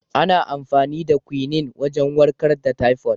Ana amfani da "Quinine" wagen warkar da " typhoid ".